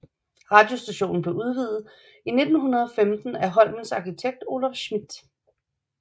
Radiostationen blev udvidet i 1915 af Holmens arkitekt Olaf Schmidth